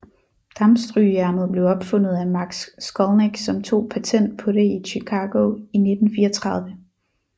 Dampstrygejernet blev opfundet af Max Skolnik som tog patent på det i Chicago i 1934